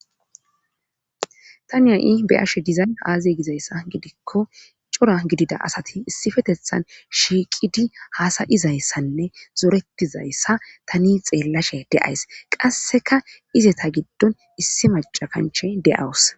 Tani ha'i be'ashe dizay aazee giyaba gidikko cora gidida asati issippetethan shiiqidi haasa'izayssanne zoretizayssa tani xelashe d'ayssi qasikka izeta gidon issi macca kanche de'awus.